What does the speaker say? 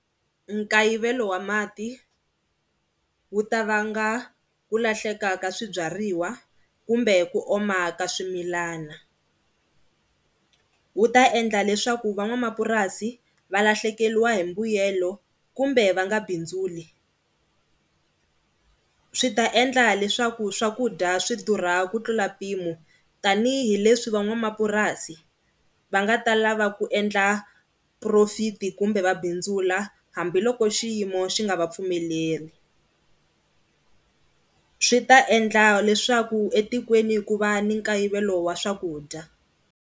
Nkayivelo wa mati wu ta vanga ku lahleka ka swibyariwa kumbe ku oma ka swimilana. Wu ta endla leswaku van'wamapurasi va lahlekeriwa hi mbuyelo kumbe va nga bindzuli, swi ta endla leswaku swakudya swidurha ku tlula mpimo tanihileswi van'wamapurasi va nga ta lava ku endla profit-i kumbe va bindzula hambiloko xiyimo xi nga va pfumeleri. Swi ta endla leswaku etikweni ku va ni nkayivelo wa swakudya.